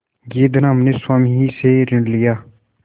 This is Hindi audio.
यह धन हमने स्वामी ही से ऋण लिया